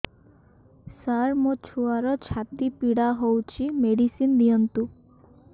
ସାର ମୋର ଛୁଆର ଛାତି ପୀଡା ହଉଚି ମେଡିସିନ ଦିଅନ୍ତୁ